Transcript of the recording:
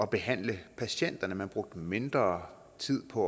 behandle patienterne man brugte mindre tid på